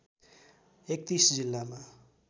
३१ जिल्लामा